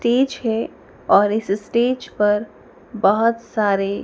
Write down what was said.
है और इस स्टेज पर बहोत सारे--